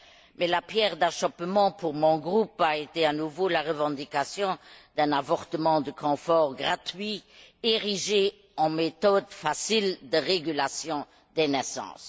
Mais la pierre d'achoppement pour mon groupe a été à nouveau la revendication d'un avortement de confort gratuit, érigé en méthode facile de régulation des naissances.